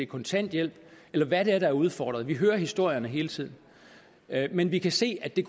kontanthjælp eller hvad det er der er udfordret vi hører historierne hele tiden men vi kan se at det